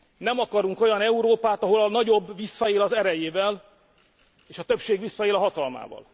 Nem akarunk olyan Európát, ahol a nagyobb visszaél az erejével és a többség visszaél a hatalmával!